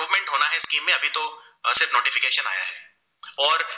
और